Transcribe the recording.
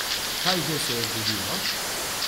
Kaj že se je zgodilo?